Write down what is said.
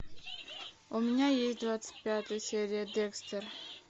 у меня есть двадцать пятая серия декстер